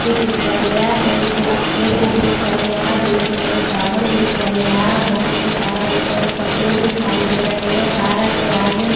दिख रहा पेड़ भी दिख रहा दूर में टावर दिख रहा बहुत सारा ऊंचा ऊंचा पेड़ दिखाई दे रहे गारा के आगे---